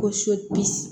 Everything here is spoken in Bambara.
Ko